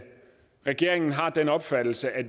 regeringen har den opfattelse at